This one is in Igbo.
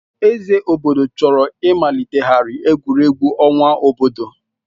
Eze obodo chọrọ ịmalitegharị egwuregwu ọnwa obodo.